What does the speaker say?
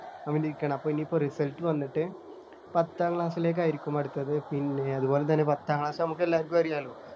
അവൻ ഇരിക്കണ് അപ്പൊ ഇനീപ്പോ Result വന്നിട്ട് പത്താം Class ലേക്ക് ആയിരിക്കും അടുത്തത് പിന്നെ അതുപോലെതന്നെ പത്താം Class നമുക്കെല്ലാവർക്കും അറിയാല്ലോ